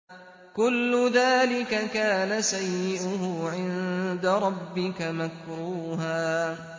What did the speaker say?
كُلُّ ذَٰلِكَ كَانَ سَيِّئُهُ عِندَ رَبِّكَ مَكْرُوهًا